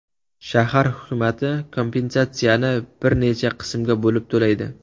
Shahar hukumati kompensatsiyani bir necha qismga bo‘lib to‘laydi.